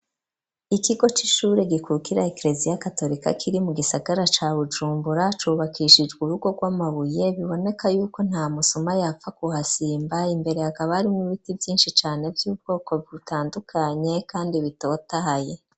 Ikigo c'ishure gikukira ekereziya ya katolika kiri mu gisagara ca bujumbura cubakishijwe urugo rw'amabuye biboneka yuko nta musuma yapfa guhasimba imbere akaba ari mw ibiti byinshi cane by'ubwoko butandukanye kandi bitotahaye.